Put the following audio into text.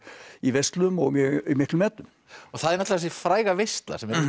í veislum og í mjög miklum metum og það er þessi fræga veisla